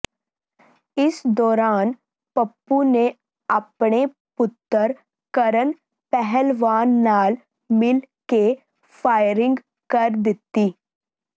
ਇਸ ਦੌਰਾਨ ਪੱਪੂ ਨੇ ਆਪਣੇ ਪੁੱਤਰ ਕਰਨ ਪਹਿਲਵਾਨ ਨਾਲ ਮਿਲ ਕੇ ਫਾਇਰਿੰਗ ਕਰ ਦਿੱਤੀ